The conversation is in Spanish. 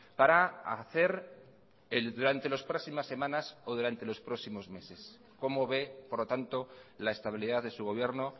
para hacer durante las próximas semanas o durante los próximos meses cómo ve por lo tanto la estabilidad de su gobierno